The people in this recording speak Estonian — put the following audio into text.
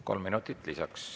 Kolm minutit lisaks.